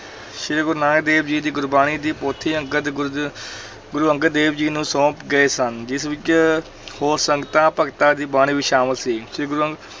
ਸ੍ਰੀ ਗੁਰੂ ਨਾਨਕ ਦੇਵ ਜੀ ਗੁਰਬਾਣੀ ਦੀ ਪੋਥੀ ਅੰਗਦ ਗੁਰ ਗੁਰੂ ਅੰਗਦ ਦੇਵ ਜੀ ਨੂੰ ਸੌਂਪ ਗਏ ਸਨ, ਜਿਸ ਵਿੱਚ ਹੋਰ ਸੰਤਾਂ ਭਗਤਾਂ ਦੀ ਬਾਣੀ ਵੀ ਸ਼ਾਮਲ ਸੀ, ਸ੍ਰੀ ਗੁਰੂ